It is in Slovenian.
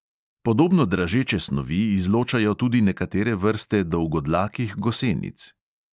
Podobno dražeče snovi izločajo tudi nekatere vrste dolgodlakih gosenic.